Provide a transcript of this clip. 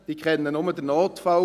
Diese kennen nur den Notfall.